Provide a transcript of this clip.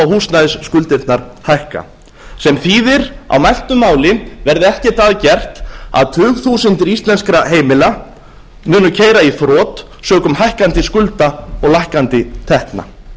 húsnæðisskuldirnar hækka sem þýðir á mæltu máli verði ekkert að gert að tugþúsundir íslenskra heimila munu keyra í þrot sökum hækkandi skulda og lækkandi tekna